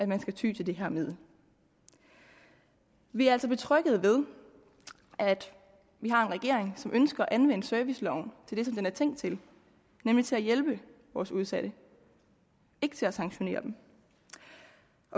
man skal ty til det her middel vi er altså betrygget ved at vi har en regering som ønsker at anvende serviceloven til det den er tænkt til nemlig til at hjælpe vores udsatte ikke til at sanktionere dem